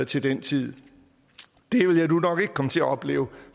til den tid det vil jeg nu nok ikke komme til at opleve